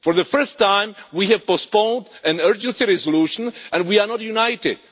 For the first time, we have postponed an urgency resolution, and we are not united.